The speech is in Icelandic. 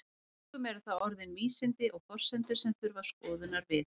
Einkum eru það orðin vísindi og forsendur sem þurfa skoðunar við.